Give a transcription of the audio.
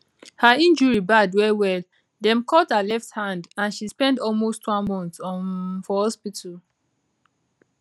her injury bad wellwell dem cut her left hand and she spend almost one month um for hospital